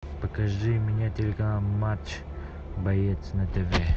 покажи мне телеканал матч боец на тв